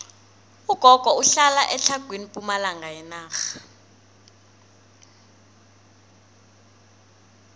ugogo uhlala etlhagwini pumalanga yenarha